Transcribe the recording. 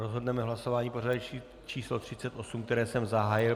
Rozhodneme hlasováním pořadové číslo 38, které jsem zahájil.